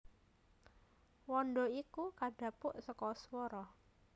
Wanda iku kadhapuk saka swara